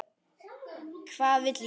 Hvað vil ég?